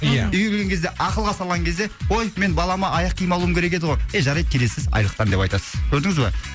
ия үйге келген кезде ақылға салған кезде ой мен балама аяқ киім алуым керек еді ғой е жарайды келесі айлықтан деп айтасыз көрдіңіз ба